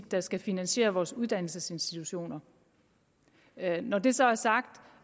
der skal finansiere vores uddannelsesinstitutioner når det så er sagt